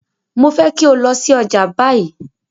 Mo fẹ́ kí o lọ sí ọjà báyìí!